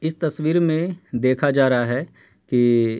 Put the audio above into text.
इस तस्वीर में देखा जा रहा है कि --